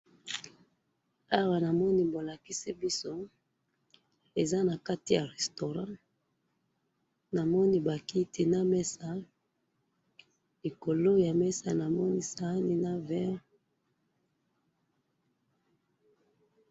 awa namoni bo lakisi biso, eza na kati ya restaurant, namoni ba kiti na meza, likolo ya mesa namoni sani na verre.